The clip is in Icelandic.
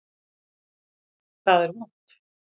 Það er vont.